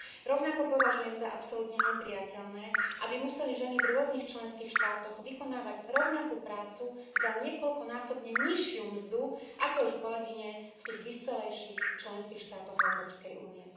Rovnako považujem za absolútne neprijateľné, aby museli ženy v rôznych členských štátoch vykonávať rovnakú prácu za niekoľkonásobne nižšiu mzdu ako ich kolegyne v tých vyspelejších členských štátoch Európskej únie.